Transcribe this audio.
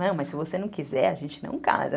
Não, mas se você não quiser, a gente não casa.